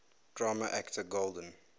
drama actor golden